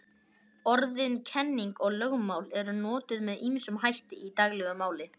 Orðin kenning og lögmál eru notuð með ýmsum hætti í daglegu máli.